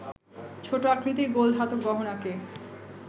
ছোট আকৃতির গোল ধাতব গহনাকে